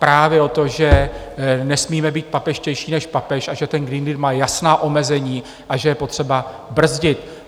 Právě o tom, že nesmíme být papežštější než papež a že ten Green Deal má jasná omezení a že je potřeba brzdit.